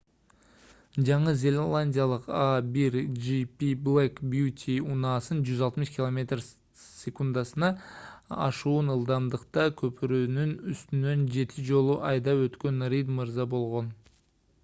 жаңы зеландиялык a1gp black beauty унаасын 160 км/с. ашуун ылдамдыкта көпүрөнүн үстүнөн жети жолу айдап өткөн рид мырза болгон